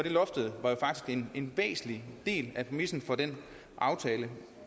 loftet jo en væsentlig del af præmissen for den aftale